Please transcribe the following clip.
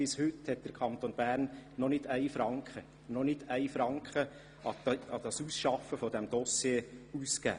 Bis heute hat der Kanton Bern noch keinen einzigen Franken für das Ausarbeiten des Dossiers ausgegeben.